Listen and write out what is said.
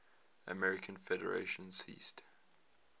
american federation ceased